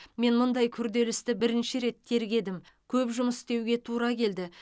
мен мұндай күрделі істі бірінші рет тергедім көп жұмыс істеуге тура келді